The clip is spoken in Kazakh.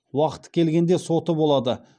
уақыты келгенде соты болады